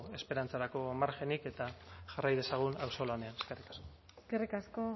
esperantzarako margenik eta jarrai dezagun auzolanean eskerrik asko eskerrik asko